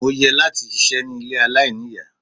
Mo yẹ láti ṣiṣẹ́ ní ilé aláìníìyá.